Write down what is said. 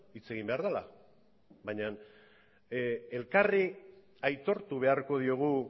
hitz egin behar dela baina elkarri aitortu beharko diogu